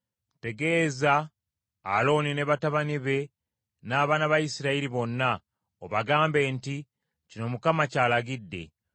“Tegeeza Alooni ne batabani be n’abaana ba Isirayiri bonna, obagambe nti, Kino Mukama ky’alagidde: